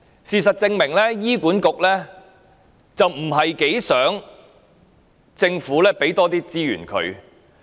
事實證明，醫院管理局不太希望政府向他們增撥資源。